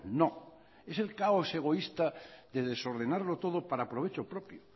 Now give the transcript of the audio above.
no es el caos egoísta de desordenarlo todo para provecho propio